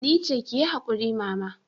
Nice, kiyi hakuri mama.